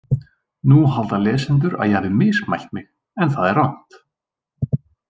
Nú halda lesendur að ég hafi mismælt mig en það er rangt.